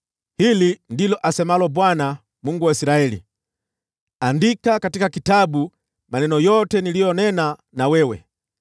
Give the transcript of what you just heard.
“Hili ndilo asemalo Bwana , Mungu wa Israeli: ‘Andika katika kitabu maneno yote niliyonena na wewe.